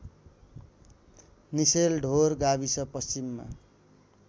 निसेलढोर गाविस पश्चिममा